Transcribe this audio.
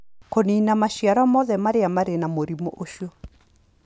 Kũniina maciaro mothe marĩa marĩ na mũrimũ ũcio